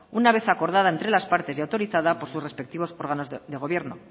una vez acordada entre las partes y autorizada por sus respectivos órganos de gobierno